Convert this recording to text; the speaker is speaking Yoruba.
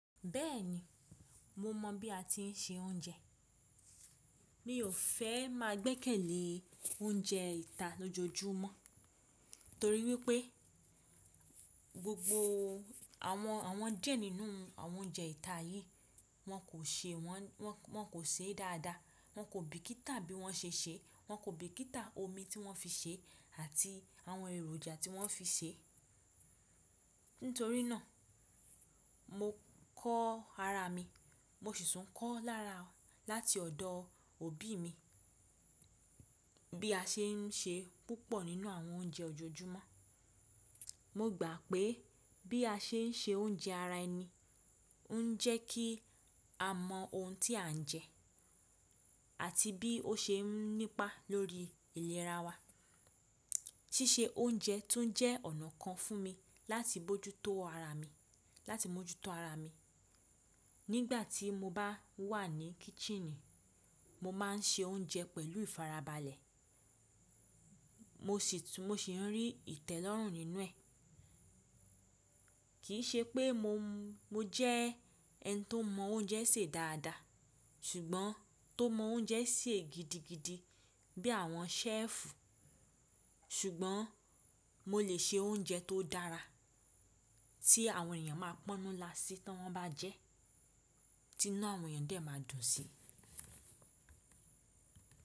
Bẹ́ẹ̀ni, mo mọ̀ bí a ti ń se oúnjẹ. Mi ò fẹ́ máa gbẹ́kẹ̀lé oúnjẹ ìta lójoojúmọ́ torí wípé gbogbo àwọn díẹ̀ nínú àwọn oúnjẹ ìta yìí, wọ́n kò sè won-- won ko see dáadáa, wọn kò bìkítà bí wọ́n ṣe sèé, wọn kò bìkítà omi tí wọ́n fi sèé àti àwọn èròjà tí wọ́n fi sèé. Nítorí náà, mo kọ́ ara mi, mo sì tún kọ́ lára láti ọ̀dọ̀ òbí mi bí a ṣe ń ṣe púpọ̀ nínú àwọn oúnjẹ ojoojúmọ́. Mo gbà pé bí a ṣe ń se oúnjẹ ara ẹni o ń jẹ́ kí a mọ ohun tí à ń jẹ àti bí ó ṣe ń nípa lórí ìlera wa. Síse oúnjẹ tún jẹ́ ọ̀nà kan fún mi láti mójútó ara mi, láti mójútó ara mi. Nígbà tí mo bá wà ní kíçíìnì, mo máa ń ṣe oúnjẹ pẹ̀lú ìfarabalẹ̀. Mo sì ń rí ìtẹ́lọ́rùn nínú ẹ̀. Kìí ṣe pé mo jẹ́ ẹni tó mọ oúnjẹ sè dáadáa ṣùgbọ́n tó mọ oúnjẹ sè gidigidi bí àwọn ṣẹ́ẹ̀fù. Ṣùgbọ́n mo lè ṣe oúnjẹ tó dára tí àwọn èèyàn máa pọ́nú lásí tí wọ́n bá jẹ́, tí inu àwọn èèyàn dè máa dùn sí.